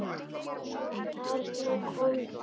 Og þarna kom það.